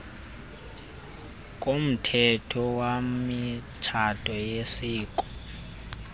komthetho wemitshato yesiko